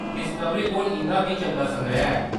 Discovery कोल इंʼदा बी चंगा संग्रैह् ऐ।